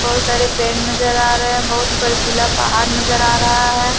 बहोत सारे पेड़ नजर आ रहे हैं बहोत बर्फीला पहाड़ नजर आ रहा है।